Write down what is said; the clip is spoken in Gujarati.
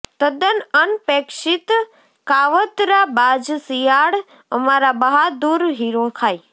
તદ્દન અનપેક્ષિત કાવતરાબાજ શિયાળ અમારા બહાદુર હીરો ખાય